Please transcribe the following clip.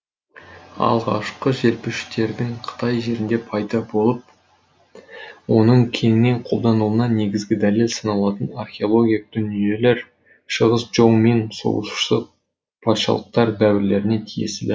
алғашқы желпуіштердің қытай жерінде пайда болып оның кеңінен қолданылуына негізгі дәлел саналатын археологиялық дүниелер шығыс чжоу мен соғысушы патшалықтар дәуірлеріне тиесілі